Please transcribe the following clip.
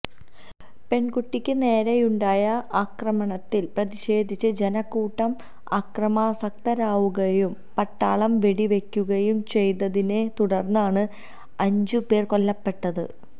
പെണ്കുട്ടിക്ക് നേരെയുണ്ടായ ആക്രമണത്തില് പ്രതിഷേധിച്ച ജനക്കൂട്ടം അക്രമാസക്തരാകുകയും പട്ടാളം വെടിവയ്ക്കുകയും ചെയ്തതിനെ തുടര്ന്നാണ് അഞ്ചു പേര് കൊല്ലപ്പെട്ടത്